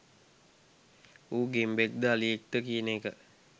ඌ ගෙම්බෙක්ද අලියෙක්ද කියන එක